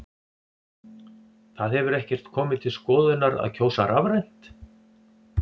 Það hefur ekkert komið til skoðunar að kjósa rafrænt?